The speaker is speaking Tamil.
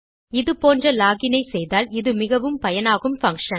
இது போன்ற லாக் இன் ஐ செய்தால் இது மிகவும் பயனாகும் பங்ஷன்